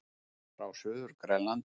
Frá Suður-Grænlandi.